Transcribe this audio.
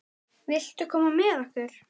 Viltu koma með okkur?